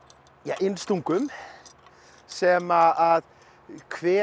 innstungum sem hver